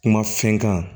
Kuma fɛn kan